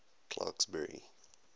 clarksburry